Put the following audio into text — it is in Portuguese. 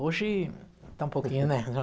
Hoje, está um pouquinho, né?